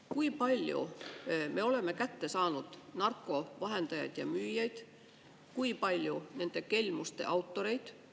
Kui palju me oleme kätte saanud narkovahendajaid ja müüjaid, kui palju nende kelmuste autoreid?